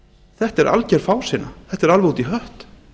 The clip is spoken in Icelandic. þetta er algjör fásinna þetta er alveg út í hött